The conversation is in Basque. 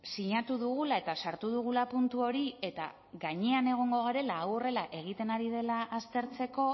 sinatu dugula eta sartu dugula puntu hori eta gainean egongo garela hau horrela egiten ari dela aztertzeko